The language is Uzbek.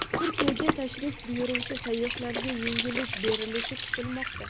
Turkiyaga tashrif buyuruvchi sayyohlarga yengillik berilishi kutilmoqda.